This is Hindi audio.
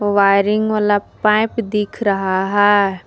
वायरिंग वाला पाइप दिख रहा है।